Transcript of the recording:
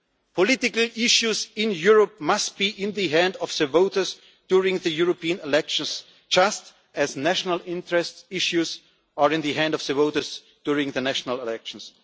Political issues in Europe must be in the hands of the voters during the European elections, just as national interest issues are in the hands of voters during national elections.